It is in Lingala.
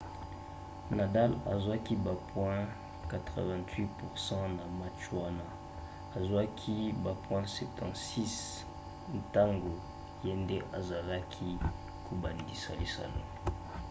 nadal azwaki ba point 88% na match wana azwaki ba point 76 ntango ye nde azalaki kobandisa lisano